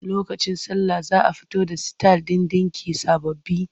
Lokacin sallah za a fito da sitayil ɗin ɗinki sababbi.